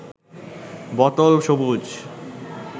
বোতল সবুজ